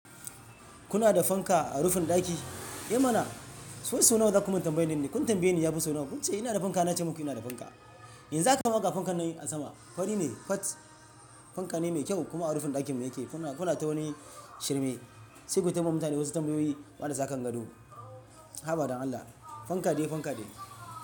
Kuna da fanka a rufin ɗaki? Eh mana! Waisau nawa za ku min tambayi ni. Kun tambaye ni ya fi suna wance ina da fanka nace muku ina da fanka. Yanzu za ka gama ga fankan nan a sama. Fari mai fat fanka ne mai kyau kuma a rufin ɗakinmu yake. Kuna, kuna ta wani shirme sai ku taba mutane wasu tambayoyi marasa kan gado. Haba don Allah fanka dai fanka ne.